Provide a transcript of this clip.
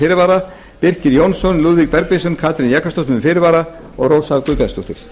fyrirvara birkir j jónsson lúðvík bergvinsson katrín jakobsdóttir með fyrirvara og rósa guðbjartsdóttir